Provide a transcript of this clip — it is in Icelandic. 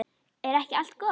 Er ekki allt gott?